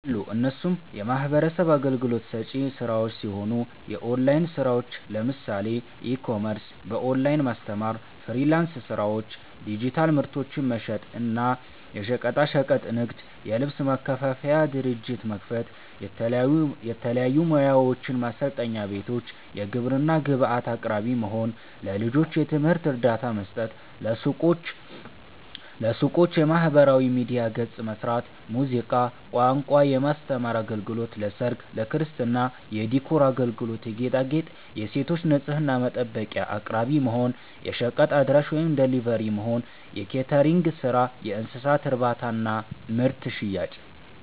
አሉ እነሱም የሚህበረሰብ አገልግሎት ሰጪ ስራዎች ሲሆኑ፦ የኦላይን ስራዎች ለምሳሌ፦ ኢ-ኮሜርስ፣ በኦላይን ማስተማር፣ ፍሊራንስ ስራዎች፣ ዲጂታል ምርቶችን መሸጥ እና፣ የሸቀጣሸቀጥ ንግድ, የልብስ ማከፋፈያ ድርጅት መክፈት፣ የተለያዩ ሙያዎችን ማሰልጠኛ ቤቶች፣ የግብርና ግብአት አቅራቢ መሆን፣ ለልጆች የትምህርት እርዳታ መስጠት፣ ለሱቆች የማህበራዊ ሚዲያ ገፅ መስራት፣ ሙዚቃ፣ ቋንቋ የማስተማር አገልግሎት ለሰርግ፣ ለክርስትና የዲኮር አገልግሎት የጌጣጌጥ, የሴቶች ንፅህና መጠበቂያ አቅራቢ መሆን፣ የሸቀጥ አድራሺ(ደሊቨሪ)መሆን፣ የኬተሪንግ ስራ፣ የእንስሳት እርባታና ምርት ሽያጭ